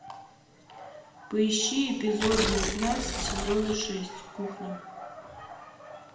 поищи эпизод девятнадцать сезона шесть кухня